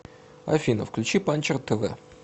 афина включи панчер тэ вэ